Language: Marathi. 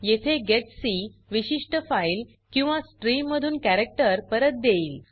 येथे जीईटीसी विशिष्ट फाइल किंवा स्ट्रीममधून कॅरक्टर परत देईल